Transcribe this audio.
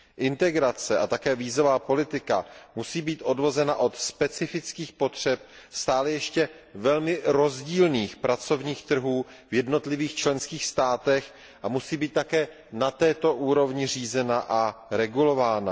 Integrace a také vízová politika musí být odvozena od specifických potřeb stále ještě velmi rozdílných pracovních trhů v jednotlivých členských státech a musí být také na této úrovni řízena a regulována.